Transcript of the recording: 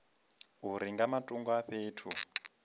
uri nga matungo a fhethu